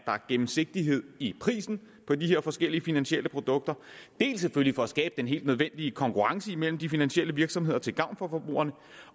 er gennemsigtighed i prisen på de her forskellige finansielle produkter dels for at skabe den helt nødvendige konkurrence imellem de finansielle virksomheder til gavn for forbrugerne